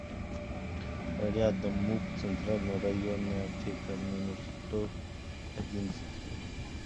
рядом муп центральная районная аптека номер сто одиннадцать